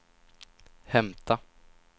hämta